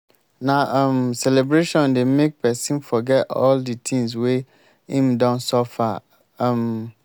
na um celebration dey make pesin forget all di tins wey im don suffer. um